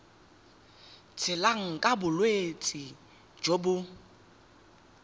tshelang ka bolwetsi jo bo